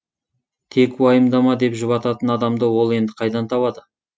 тек уайымдама деп жұбататын адамды ол енді қайдан табады